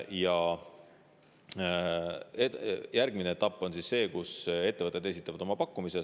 Ja järgmine etapp on see, kus ettevõtted esitavad oma pakkumise.